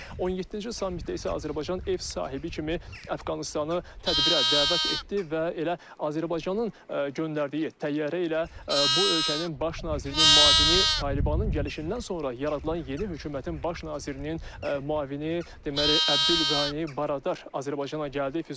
17-ci sammitdə isə Azərbaycan ev sahibi kimi Əfqanıstanı tədbirə dəvət etdi və elə Azərbaycanın göndərdiyi təyyarə ilə bu ölkənin baş nazirinin müavini Talibanın gəlişindən sonra yaradılan yeni hökumətin baş nazirinin müavini deməli Əbdülqəni Baradar Azərbaycana gəldi.